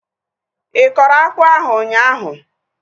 Ịkọrọ akpụ ahu ụnyaahụ?